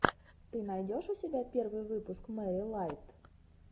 ты найдешь у себя первый выпуск мэри лайт